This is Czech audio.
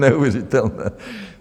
Neuvěřitelné.